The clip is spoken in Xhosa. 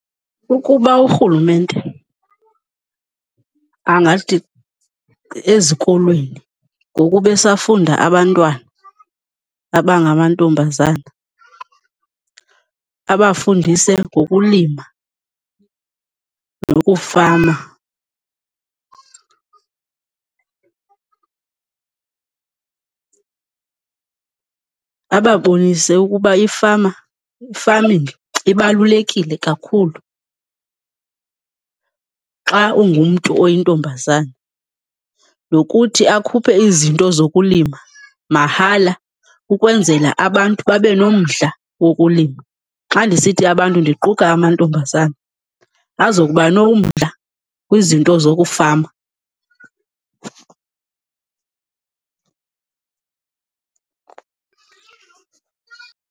Ukuba urhulumente angathi ezikolweni, ngoku besafunda abantwana abangamantombazana, abafundise ngokulima nokufama. Ababonise ukuba ifama, i-farming ibalulekile kakhulu xa ungumntu oyintombazana, nokuthi akhuphe izinto zokulima mahala ukwenzela abantu babe nomdla wokulima. Xa ndisithi abantu, ndiquka amantombazana, azokuba nomdla kwizinto zokufama.